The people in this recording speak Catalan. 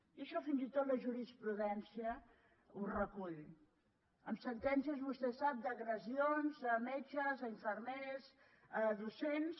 i això fins i tot la jurisprudència ho recull amb sentències vostè ho sap d’agressions a metges infermers docents